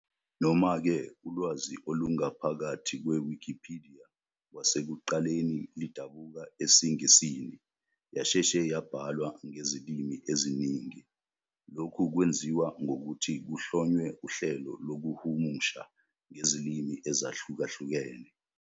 Noma-ke ulwazi olungaphakathi kwe-wikipediya kwasekuqaleni lidabuka esiNgisini, yasheshe yabhalwa ngezilimi eziningi, lokhu kwenziwa ngokuthi kuhlonywe uhlelo lokuhumusha ngezilimi ezahlukahlukene.